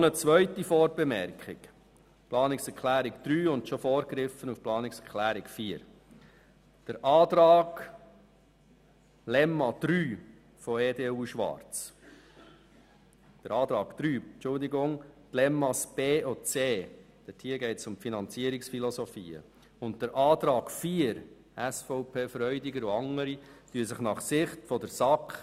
Noch eine zweite Vorbemerkung zu Planungserklärung 3 und bereits vorgegriffen auf Planungserklärung 4: Die Planungserklärung 3 EDU/Schwarz, Lemmata b und c, wo es um die Finanzierungsphilosophien geht, und der Antrag 4 SVP/Freudiger und andere widersprechen sich aus Sicht der SAK.